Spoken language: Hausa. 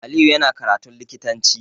Aliyu yana karatun likitanci